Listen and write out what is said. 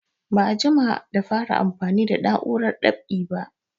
Ba a jima da fara amfani da na'urar dab'i ba